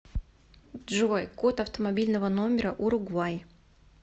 джой код автомобильного номера уругвай